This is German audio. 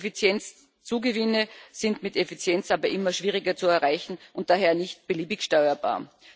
Effizienzzugewinne sind mit Effizienz aber immer schwieriger zu erreichen und daher nicht beliebig steuerbar.